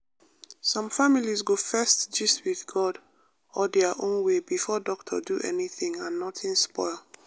some families go first gist with god or their own way before doctor do anything and nothing spoil.